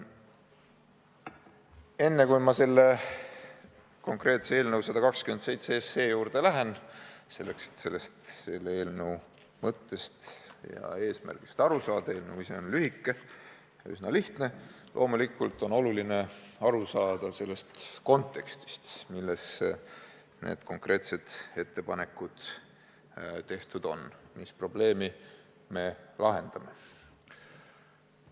Enne, kui ma konkreetse eelnõu, 127 SE juurde lähen, ütlen, et selleks, et selle eelnõu mõttest ja eesmärgist aru saada – eelnõu ise on lühike ja üsna lihtne –, on loomulikult oluline aru saada kontekstist, milles need konkreetsed ettepanekud tehtud on, ja mis probleemi me lahendame.